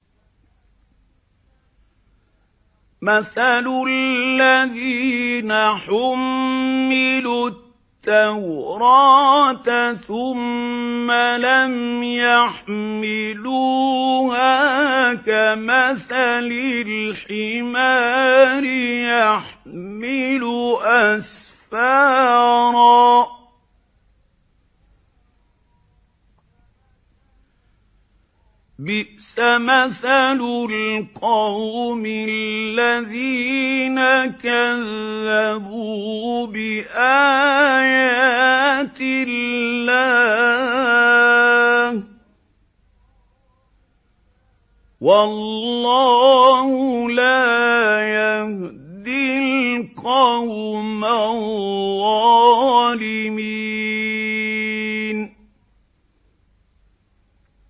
مَثَلُ الَّذِينَ حُمِّلُوا التَّوْرَاةَ ثُمَّ لَمْ يَحْمِلُوهَا كَمَثَلِ الْحِمَارِ يَحْمِلُ أَسْفَارًا ۚ بِئْسَ مَثَلُ الْقَوْمِ الَّذِينَ كَذَّبُوا بِآيَاتِ اللَّهِ ۚ وَاللَّهُ لَا يَهْدِي الْقَوْمَ الظَّالِمِينَ